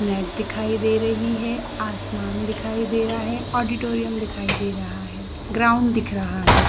Net दिखाई दे रही है आसमान दिखाई दे रहा है ऑडिटोरियम दिखाई दे रहा है ग्राउंड दिख रहा है।